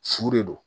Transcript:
Su de don